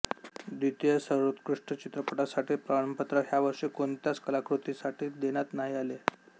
द्वितीय सर्वोत्कृष्ट चित्रपटासाठी प्रमाणपत्र ह्या वर्षी कोणत्याच कलाकृतीसाठी देण्यात नाही आले